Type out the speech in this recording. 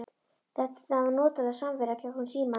Þetta var notaleg samvera gegnum símann.